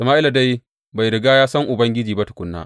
Sama’ila dai bai riga ya san Ubangiji ba tukuna.